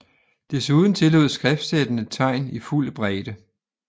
Desuden tillod skriftsættene tegn i fuld bredde